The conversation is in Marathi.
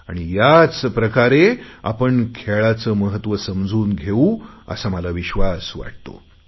आणि याचप्रकारे आपण खेळाचे महत्त्व समजून घेऊ असा मला विश्वास वाटतो